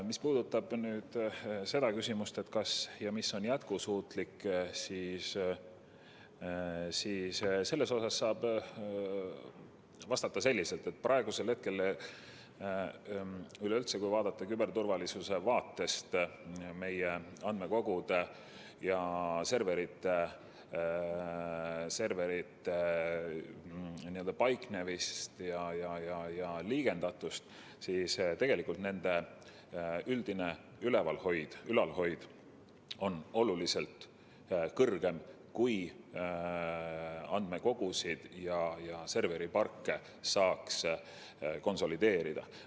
Mis puudutab seda küsimust, kas ja mis on jätkusuutlik, siis saab vastata selliselt, et kui vaadata küberturvalisuse vaatest meie andmekogude ja serverite paiknemist ja liigendatust, siis tegelikult nende üldine ülalhoid oleks oluliselt parem, kui andmekogusid ja serveriparke saaks konsolideerida.